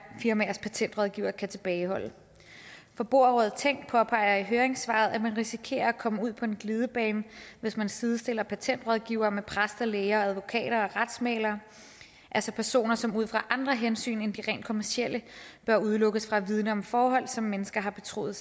firmaers patentrådgivere kan tilbageholde forbrugerrådet tænk påpeger i høringssvaret at man risikerer at komme ud på en glidebane hvis man sidestiller patentrådgivere med præster læger advokater og retsmæglere altså personer som ud fra andre hensyn end de rent kommercielle bør udelukkes fra at vidne om forhold som mennesker har betroet